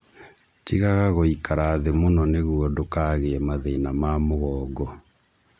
Tigaga gũikara thĩ mũno nĩguo ndũkagĩe mathina ma mũgongo